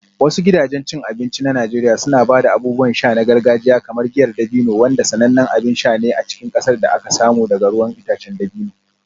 Wasu gidajen cin abinci na Najeriya suna ba da abubuwan sha na gargajiya kamar giyar dabino, wanda sanannen abin sha ne a cikin ƙasar da aka samu daga ruwan itacen dabino.